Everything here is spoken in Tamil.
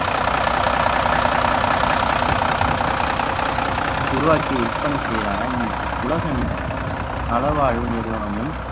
உருவாக்கி விற்பனை செய்யலாம் என உலகின் நலவாழ்வு நிறுவனமும்